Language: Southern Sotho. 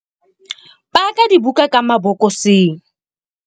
Paka dibuka ka mabokoseng.